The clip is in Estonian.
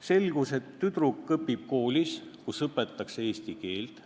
Selgus, et tüdruk õpib koolis, kus õpetatakse eesti keelt,